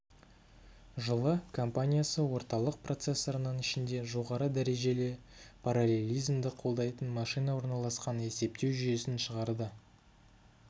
жылы компаниясы орталық процессорының ішінде жоғары дәрежелі параллелизмді қолдайтын машина орналасқан есептеу жүйесін шығарды